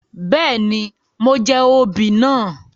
Béèni, mo jẹ oobì náà